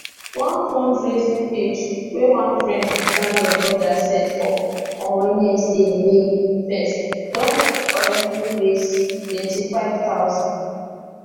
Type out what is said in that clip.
one fundraising page wey one friend to daniel brother set up on wednesday may 1 don already raise 25000